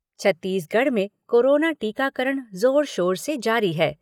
छत्तीसगढ़ में कोरोना टीकाकरण जोर शोर से जारी है।